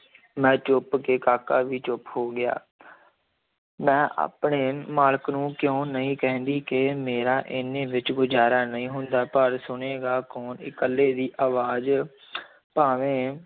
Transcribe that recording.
ਮੈਂ ਚੁੱਪ ਕੇ ਕਾਕਾ ਵੀ ਚੁੱਪ ਹੋ ਗਿਆ ਮੈਂ ਆਪਣੇ ਮਾਲਕ ਨੂੰ ਕਿਉਂ ਨਹੀਂ ਕਹਿੰਦੀ ਕਿ ਮੇਰਾ ਇੰਨੇ ਵਿੱਚ ਗੁਜਾਰਾ ਨਹੀਂ ਹੁੰਦਾ ਪਰ ਸੁਣੇਗਾ ਕੌਣ ਇਕੱਲੇ ਦੀ ਅਵਾਜ਼ ਭਾਵੇਂ